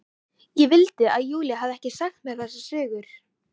Ég vildi að Júlía hefði ekki sagt mér þessar sögur.